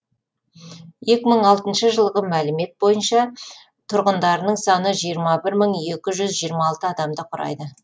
екі сың алтыншы жылғы мәлімет бойынша тұрғындарының саны жиырма бір мың екі жүз жиырма алты адамды құрайды